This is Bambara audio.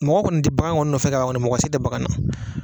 Mɔgɔ kɔni t'i bagan kɔni nɔfɛ ka ban mako si tɛ bagan na.